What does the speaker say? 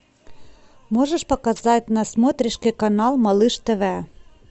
можешь показать на смотрешке канал малыш тв